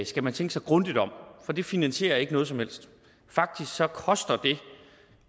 skal man tænke sig grundigt om for det finansierer ikke noget som helst faktisk koster det